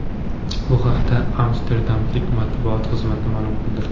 Bu haqda amsterdamliklar matbuot xizmati ma’lum qildi .